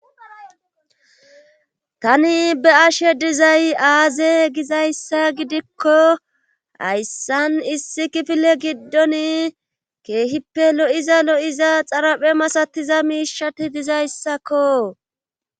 Tani be ashe dizay aaze gizayssa gidikko hayssan issi kifile giddon keehippe lo'iza lo'iza xaraphe masatiza miishati dizayssakko.